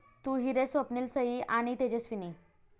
तू ही रे...स्वप्नील, सई आणि तेजस्विनी